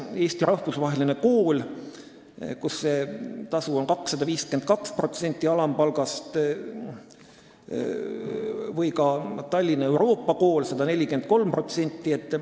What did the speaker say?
Eesti Rahvusvahelises Koolis on tasu 252% alampalgast, Tallinna Euroopa Koolis 143%.